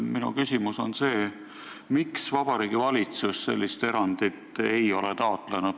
Minu küsimus on see: miks ei ole Vabariigi Valitsus sellist erandit taotlenud?